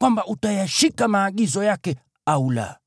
kwamba utayashika maagizo yake au la.